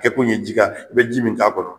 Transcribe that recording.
Kɛ kun ye ji ka i be ji min k'a kɔnɔ